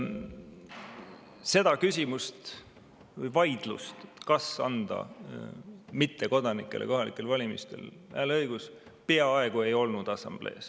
Seda küsimust või vaidlust, kas anda mittekodanikele kohalikel valimistel hääleõigus, assamblees peaaegu ei olnud.